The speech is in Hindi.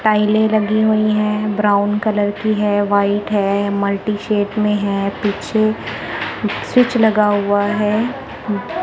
टाईले लगी हुई हैं ब्राउन कलर की है व्हाइट है मल्टी शेप में है पीछे स्विच लगा हुआ है।